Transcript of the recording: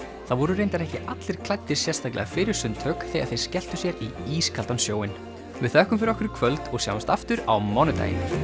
það voru reyndar ekki allir klæddir sérstaklega fyrir sundtök þegar þeir skelltu sér út í ískaldan sjóinn við þökkum fyrir okkur í kvöld og sjáumst aftur á mánudaginn